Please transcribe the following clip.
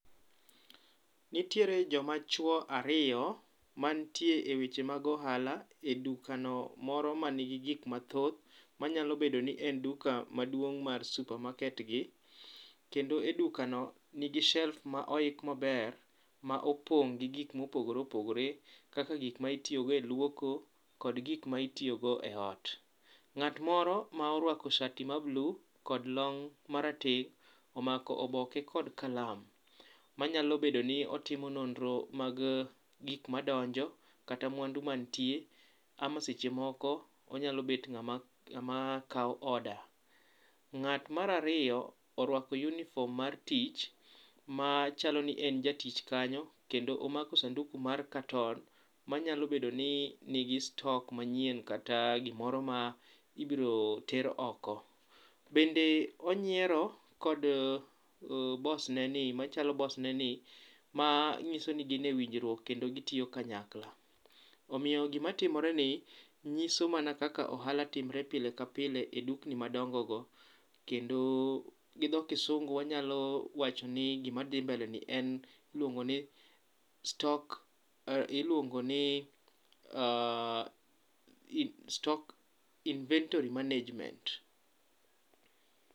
Nitiere joma chuo ariyo mantie wechego mag ohala edukano moro mani gi gik moko mathoth, manyalo bedo ni en duka maduong' mar super market gi kendo e dukano nigi shelves ma oik maber man gi gik mopogore opogore kaka gik ma itiyo go e luoko kod gik ma itiyogo eot. Ng'at moro ma oruako shati ma mbulu kod long' marateng' omako oboke kod kalam manyalo bedo ni otimo nonro mag gik madonjo kata mwandu mantie ama seche moko onyalo bet ng'ama kawo order. Ng'at mar ariyo oruako [cs6uniform mar tich machal ni en jatich kanyo kendo omako sanduk mar katon manyalo bedo ni nigi stock manyien kata gimoro ma ibiro ter oko. Bende onyiero kod bosneni machalo bosneni manyiso ni gin e winjruok kendo gitiyo kanyakla. Omiyo gima timoreni nyiso mana kaka ohala timore pile ka pile e dukni madongogo kendo gi dho kisungu wanyalo wacho ni gima dhi mbeleni en iluongo ni stock iluongo ni ah stock inventory management.